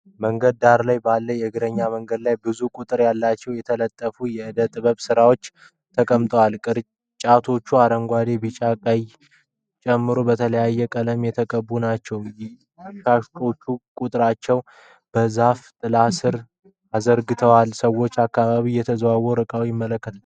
መንገድ ዳር ባለ የእግረኛ መንገድ ላይ ብዙ ቁጥር ያላቸው የተጠላለፉ የዕደ ጥበብ ስራዎች ተቀምጠዋል። ቅርጫቶቹ አረንጓዴ፣ ቢጫና ቀይ ጨምሮ በተለያየ ቀለም የተቀቡ ናቸው። ሻጮች ቅርጫቶቹን በዛፍ ጥላ ስር አዘጋጅተዋል። ሰዎች በአካባቢው እየተዘዋወሩ ዕቃዎቹን ይመለከታሉ።